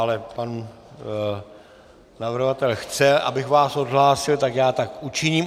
Ale pan navrhovatel chce, abych vás odhlásil, tak já tak učiním.